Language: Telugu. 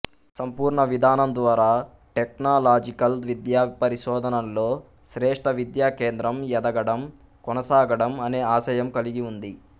సంపూర్ణ విధానం ద్వారా టెక్నలాజికల్ విద్య పరిశోధనల్లో శ్రేష్ఠ విద్యాకేంద్రం ఎదగడం కొనసాగడం అనే ఆశయం కలిగి ఉంది